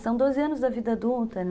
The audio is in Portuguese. E são doze anos da vida adulta, né?